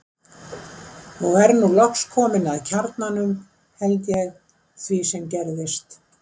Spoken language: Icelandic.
Og er nú loks komin að kjarnanum, held ég, því sem gerðist.